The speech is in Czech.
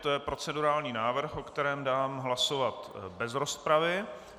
To je procedurální návrh, o kterém dám hlasovat bez rozpravy.